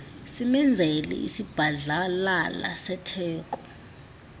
simenzele isibhadlalala setheko